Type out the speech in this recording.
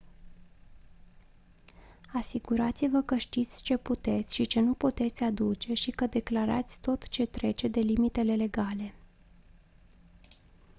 asigurați-vă că știți ce puteți și ce nu puteți aduce și că declarați tot ce trece de limitele legale